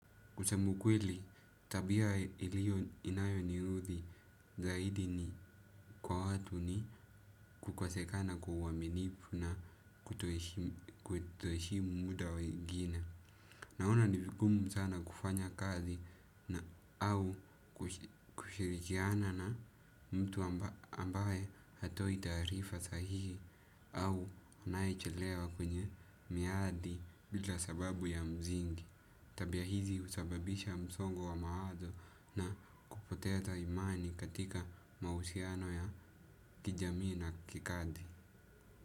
Kusema ukweli, tabia inayoniudhi zaidi kwa watu ni kukosekana kwa uaminifu na kutoheshimu mda wa wengine. Naona ni vigumu sana kufanya kazi na au kushirikiana na mtu ambaye hatoi taarifa sahihi au anayechelewa kwenye miadi bila sababu ya msingi. Tabia hizi husababisha msongo wa mawazo na kupoteza imani katika mahusiano ya kijamii na kikadi.